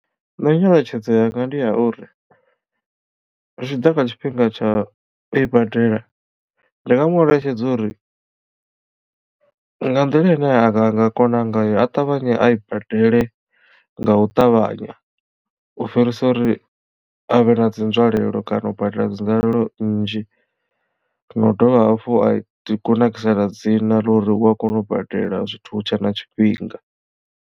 Nṋe nyeletshedzo yanga ndi ya uri zwitshiḓa kha tshifhinga tsha ui badela ndi nga mu eletshedza uri nga nḓila ine a nga nga kona ngayo a ṱavhanye a i badele nga u ṱavhanya u fhirisa uri avhe na dzi nzwalelo kana u badela dzinzwalelo nnzhi na u dovha hafhu a ri kunakisela dzina ḽa uri u a kona u badela zwithu hu tshe na tshifhinga.